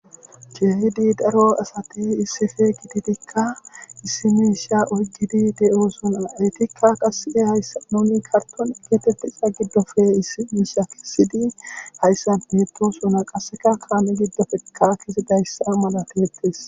Keehid daro asat issipe gididi utidika de'osona, etika qaseka ahaysa kartone getetizaya gidoppe issi misha kesid haysan betosona, qaseka kametika kezidaysa malatetes.